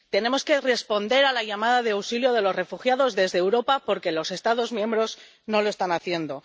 Tenemos que responder a la llamada de auxilio de los refugiados desde Europa porque los Estados miembros no lo están haciendo.